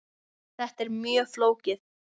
Þetta er mjög flókið.